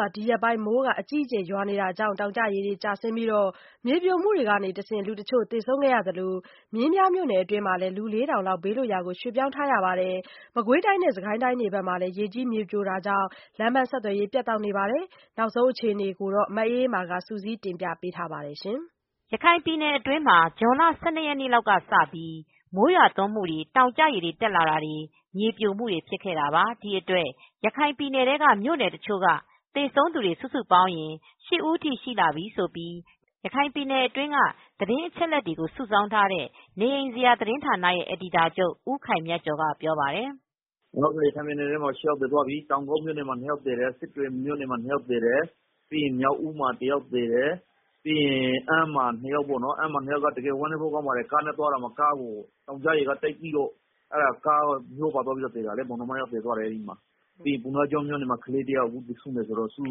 ှာ ဒီရက်ပိုင်း မိုးအကြီးအကျယ် ရွာနေတာကြောင့် တောင်ကျရေ ကျဆင်းပြီး မြေပြိုမှုတွေကနေ လူတချို့ သေဆုံးခဲ့ရသလို မင်းပြားမြို့နယ်အတွင်းမှာတော့ လူ လေးထောင်လောက် ဘေးလွတ်ရာ ရွှေ့ပြောင်းနေကြရပါတယ်။ မကွေးတိုင်းနဲ့ စစ်ကိုင်းတိုင်းတွေ ဘက်မှာလည်း ရေကြီး မြေပြိုတာတွေကြောင့် လမ်းပန်းဆက်သွယ်ရေးတွေ ပြတ်တောက်နေရပါတယ်။ နောက်ဆုံး အခြေအနေတချို့ကို ထိုင်းအခြေစိုက် ဗွီအိုအေသတင်းထောက် မအေးအေးမာ က စုစည်းတင်ပြပေးထားပါတယ်။ ရခိုင်ပြည်နယ်အတွင်းမှာ ဇွန်လ ၁၂ ရက်နေ့လောက်ကစပြီး မိုးရွာနေတာနဲ့ တောင်ကျရေတွေကြောင့် မြေပြိုမှုတွေ ဖြစ်ခဲ့တာပါ။ ဒီအတွက် ရခိုင်ပြည်နယ်ထဲက မြို့နယ်တချို့မှာ သေဆုံးသူ စုစုပေါင်းရင် ၈ ဦးထိရှိလာနေကြောင်း ရခိုင်ပြည်နယ်တွင်းက သတင်းအချက်အလက်တွေ စုဆောင်းထားတဲ့ narinjara သတင်းဌာန အယ်ဒီတာချုပ် ဦးခိုင်မြတ်ကျော်က ပြောပါတယ်။ "ရခိုင်ပြည်နယ်ထဲမှာ ၈ ယောက်သေသွားပြီ။ တောင်ကုတ်မှာ ၂ ယောက်သေတယ်။ စစ်တွေမှာ ၂ ယောက်သေတယ။ မြောက်ဦးမှာ တယောက် သေတယ်။ အမ်းမှာ ၂ ယောက်သေတယ်။ အမ်းမှာက ဝမ်းနည်းစရာကောင်းပါတယ်။ ကားနဲ့သွားရာမှာ တောင်ကျရေတွေ တိုက် စီးပြီး ကားပ ါမျောပါပြီး မောာင်နှမ၂ ယောက်သေသွားတာ။ ပုဏ္ဏားကျွန်းမြို့မှာ ကလေးတယောက်သေသွားတော့ စုစု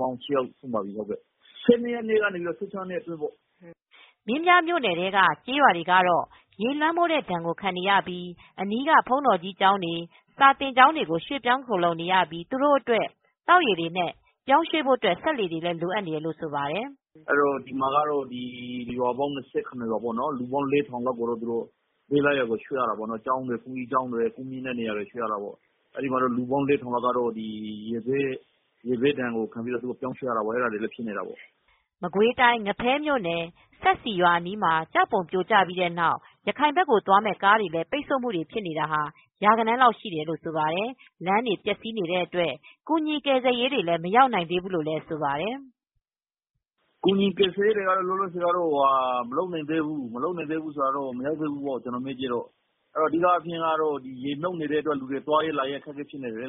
ပေါင်း ၈ ယောက် သေ သွားပြီပေါ့။ ၁၂ ရက်နေ့ကနေ ၁၆ ရက်နေ့အတွင်းပေါ့။" မင်းပြားမြို့နယ်ထဲက ကျေးရွာတွေကတော့ ရေလွှမ်းမိုးတဲ့ဒဏ် ခံနေရပြီး အနီးက ဘုန်းတော်ကြီးကျောင်းတွေ၊ စာသင်ကျောင်းတွေမှာ ရွှေ့ပြောင်းခိုလှုံနေကြရပြီး သူတို့အတွက် သောက်ရေနဲ့ ပြောင်းရွှေ့ရေးအတွက် စက်လှေတွေ လိုအပ်နေတယ်လို့ ပြောပါတယ်။ "ဒီမှာက ရွာပေါင်း ၂၇ ရွာပေါ့ လူပေါင်း ၄,၀၀၀ လောက်က ဘေးနားကရွာတွေ ၊ ကျောင်းတွေ၊ဘုန်းကြီးကျောင်းတွေဆီကို ရွှေ့ရတာပေါ့။ လူပေါင်း ၄,၀၀၀ လောက်က ရေဘေးဒဏ်ကိုခံနေရတာပေါ့။" မကွေးတိုင်း၊ ငဖဲမြို့နယ် စပ်စီရွာအနီးမှာ ကျောက်ပုံပြိုကျပြီးတဲ့နောက် ရခိုင်ဘက်ကို သွားမဲ့ ရာဂဏန်းလောက်ရှိတဲ့ ကားတွေလည်း လမ်းပိတ်နေပါတယ်။ အခုလို လမ်းတွေပျက်စီးနေတဲ့အတွက် ကူညီကယ်ဆယ်ရေးတွေ မရောက်နိုင်သေးဘူးလို့လည်း ဆိုပါတယ်။ "ကူညီကယ်ဆယ်ရေးတွေက လောလောဆယ်မရောက်နိုင်ကြသေးဘူး။ အဓိက လမ်းတွေပိတ်နေတော့ အကူညီပေးမဲ့သူတွေကလည်း မသွားနိုင်ဘူးဖြစ်နေတယ်။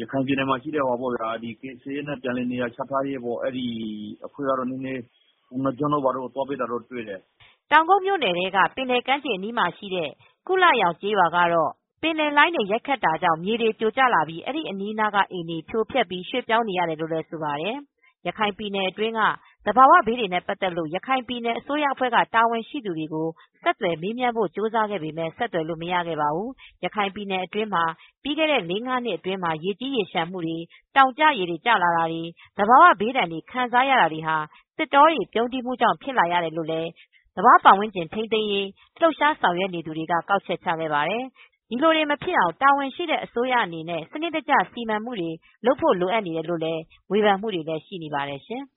ရခိုင်ပြည်နယ်ထဲက ကယ်ဆယ်ရေးနဲ့ နေရာပြန်လည်ချထားရေးအဖွဲ့ကတော့ ပုဏ္ဏားကျွန်းတို့ ဘာတို့ကို နည်းနည်းသွားပေးတာတော့ တွေ့တယ်။" တောင်ကုတ်မြို့နယ်ထဲက ပင်လယ်ကမ်းခြေအနီးမှာရှိတဲ့ ကုလရောင်ကျေးရွာကတော့ ပင်လယ်လှိုင်းတွေ ရိုက်ခတ်တာကြောင့် မြေတွေ ပြိုကျလာပြီး အဲဒီအနားက အိမ်တွေကို ဖြိုဖျက်ပြီး ရွှေ့ပြောင်းနေရတယ်လို့လည်း ဆိုပါတယ်။ ရခိုင်ပြည်နယ်တွင်းက သဘာဝဘေးတွေနဲ့ပတ်သက်လို့ ရခိုင်ပြည်နယ်အစိုးရအဖွဲ့ တာဝန်ရှိသူတွေကို ဆက်သွယ်မေးမြန်းဖို့ ကြိုးစားခဲ့ပေမဲ့ ဆက်သွယ်လို့ မရခဲ့ပါဘူး။ ရခိုင်ပြည်နယ်အတွင်းမှာ ပြီးခဲ့တဲ့လေးငါးနှစ်အတွင်းမှာ ရေကြီးရေလျှံတာ၊ တောင်ကျရေတွေ ကျလာတာတွေ၊ သဘာဝ ဘေးဒဏ် ခံစားရတာ တွေဟာ သစ်တောတွေ ပြုန်းတီးမှုကြောင့် ဖြစ်လာကြောင်း သဘာဝပတ်ဝန်းကျင်ထိန်းသိမ်းရေး လှုပ်ရှားဆောင်ရွက်သူတွေက ကောက်ချက်ချခဲ့ပါတယ်။ ဒီလိုတွေမဖြစ်အောင်လို့ တာဝန်ရှိတဲ့အစိုးရအနေနဲ့ စံနစ်တကျ စီမံဆောင်ရွက်ဖို့ လိုအပ်ကြောင်း ဝေဖန်ကြတာတွေလည်း ရှိနေပါတယ်ရှင်။